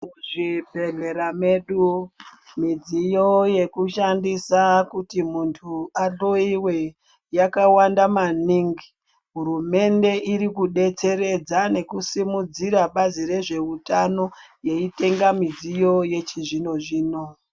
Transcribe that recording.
Muzvibhedhlera medu mudziyo yekushandisa kuti muntu ahloyiwe yakawanda maningi hurumende iri kudetseredza nekusimudzira bazi rezveutano yeitenga midziyo yechizvino zvino.